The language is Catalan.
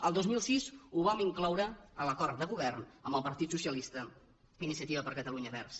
el dos mil sis ho vam incloure a l’acord de govern amb el partit dels socialistes i iniciativa per catalunya verds